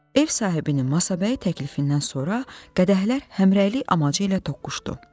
Ev sahibinin Masabəy təklifindən sonra qədəhlər həmrəylik amaci ilə toqquşdu.